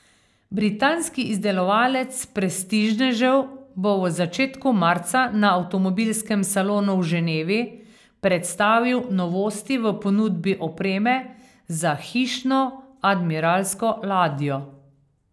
Britanski izdelovalec prestižnežev bo v začetku marca na avtomobilskem salonu v Ženevi predstavil novosti v ponudbi opreme za hišno admiralsko ladjo.